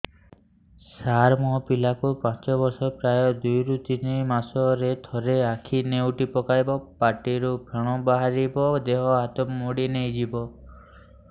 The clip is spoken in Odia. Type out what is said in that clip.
ସାର ମୋ ପିଲା କୁ ପାଞ୍ଚ ବର୍ଷ ପ୍ରାୟ ଦୁଇରୁ ତିନି ମାସ ରେ ଥରେ ଆଖି ନେଉଟି ପକାଇବ ପାଟିରୁ ଫେଣ ବାହାରିବ ଦେହ ହାତ ମୋଡି ନେଇଯିବ